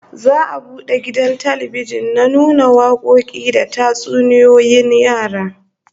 Za'a bude gidan talbijin na nuna wakoki da tatsuniyoyin yara